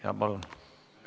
Jaa, palun!